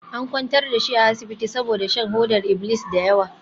An kwantar da shi a asibiti saboda shan hodar iblis da yawa.